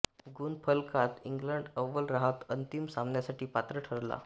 गुणफलकात England अव्वल राहत अंतिम सामन्यासाठी पात्र ठरला